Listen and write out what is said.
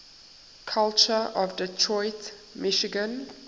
culture of detroit michigan